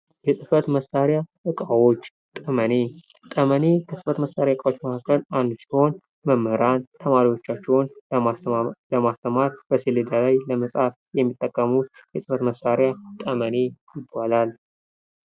የጽህፈት መሳሪያዎች፦ ለምሳሌ ጠመኔ፦ ጠመኔ ከጽህፈት መሳሪያዎች መካክለ አንዱ ሲሆን መምህራን ተማሪዎቻቸውን ለማስተማር፣ ሰሌዳ ላይ ለመጻፍ የሚጠቀሙበት የጽህፈት መሳሪያ ነው።